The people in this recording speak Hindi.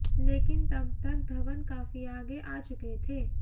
लेकिन तब तक धवन काफी आगे आ चुके थे